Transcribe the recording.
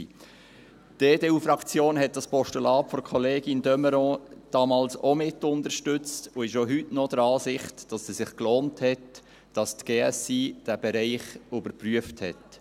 Die EDU-Fraktion hat das Postulat der Kollegin de Meuron damals auch mitunterstützt und ist auch heute noch der Ansicht, dass es sich gelohnt hat, dass die GSI diesen Bereich überprüft hat.